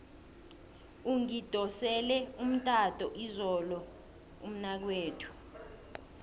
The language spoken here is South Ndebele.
ungidosele umtato izolo umnakwethu